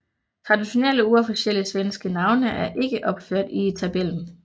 Traditionelle uofficielle svenske navne er ikke opført i tabellen